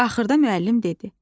Axırda müəllim dedi: